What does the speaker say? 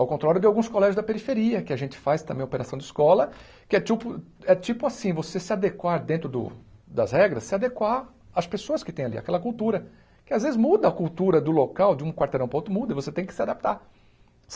ao contrário de alguns colégios da periferia, que a gente faz também operação de escola, que é tiupo tipo assim, você se adequar dentro do das regras, se adequar às pessoas que tem ali, àquela cultura, que às vezes muda a cultura do local, de um quarteirão para outro muda, você tem que se adaptar.